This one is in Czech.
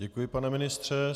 Děkuji, pane ministře.